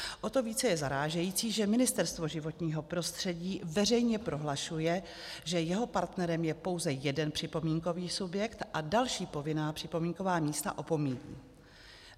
O to více je zarážející, že Ministerstvo životního prostředí veřejně prohlašuje, že jeho partnerem je pouze jeden připomínkový subjekt, a další povinná připomínková místa opomíjí.